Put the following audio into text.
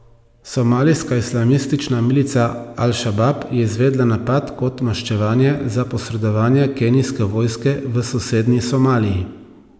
Somalijska islamistična milica Al Šabab je izvedla napad kot maščevanje za posredovanje kenijske vojske v sosednji Somaliji.